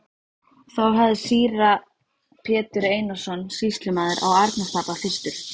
Þá hafði síra Pétur Einarsson sýslumaður á Arnarstapa fyrstur